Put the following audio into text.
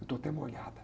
Eu estou até molhada.